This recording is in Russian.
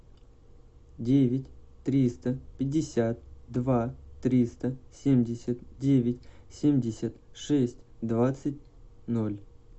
девять триста пятьдесят два триста семьдесят девять семьдесят шесть двадцать ноль